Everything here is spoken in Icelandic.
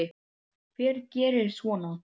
Hver gerir svona?